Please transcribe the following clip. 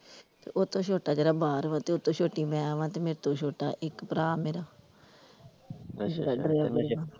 ਓਹਤੋਂ ਛੋੱਟਾ ਜਿਹੜਾ ਬਾਹਰ ਵਾ ਤੇ ਓਹਤੋਂ ਛੋਟੀ ਮੈਂ ਵਾ ਤੇ ਮੇਰੇ ਤੋਂ ਛੋੱਟਾ ਇੱਕ ਭਰਾ ਮੇਰਾ .